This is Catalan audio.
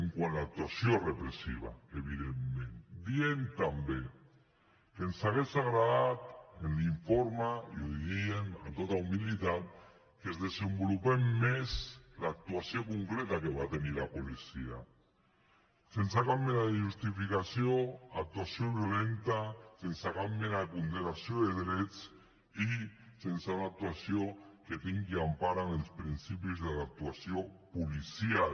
quant a l’actuació repressiva evidentment diem també que ens hagués agradat que en l’informe i ho diem amb tota humilitat es desenvolupés més l’actuació concreta que va tenir la policia sense cap mena de justificació actuació violenta sense cap mena de ponderació de drets i sense una actuació que tingui empara en els principis de l’actuació policial